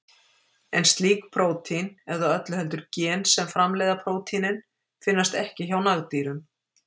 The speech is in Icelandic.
En slík prótín, eða öllu heldur gen sem framleiða prótínin, finnast ekki hjá nagdýrum.